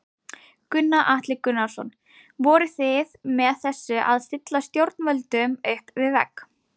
Gunnar Atli Gunnarsson: Voruð þið með þessu að stilla stjórnvöldum upp við vegg?